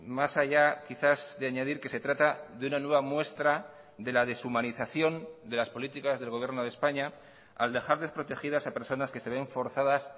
más allá quizás de añadir que se trata de una nueva muestra de la deshumanización de las políticas del gobierno de españa al dejar desprotegidas a personas que se ven forzadas